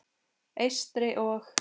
Eystri- og